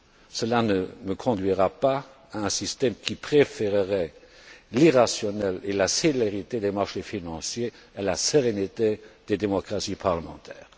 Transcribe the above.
Cela ne conduira pas à un système qui préfèrerait l'irrationnel et la célérité des marchés financiers à la sérénité des démocraties parlementaires.